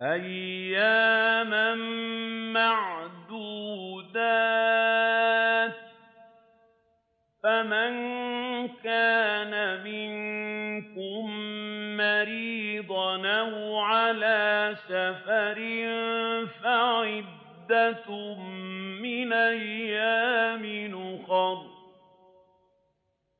أَيَّامًا مَّعْدُودَاتٍ ۚ فَمَن كَانَ مِنكُم مَّرِيضًا أَوْ عَلَىٰ سَفَرٍ فَعِدَّةٌ مِّنْ أَيَّامٍ أُخَرَ ۚ